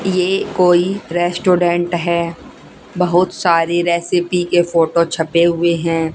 ये कोई रेस्टोरेंट हैं बहुत सारे रेसीपी के फोटो छपे हुए है।